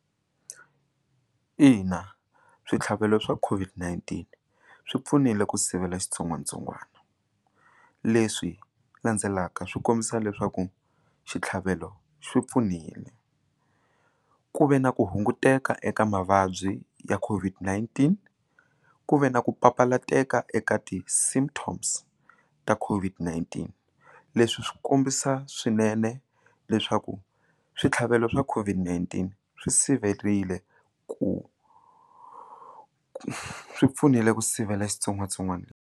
Ina, switlhavelo swa COVID-19 swi pfunile ku sivela xitsongwatsongwana leswi landzelaka swi kombisa leswaku xitlhavelo xi pfunile ku ve na ku hunguteka eka mavabyi ya COVID-19 ku ve na ku papalateka eka ti symptoms ta COVID-19 leswi swi kombisa swinene leswaku switlhavelo swa COVID-19 swi siverile ku swi pfunile ku sivela xitsongwatsongwana.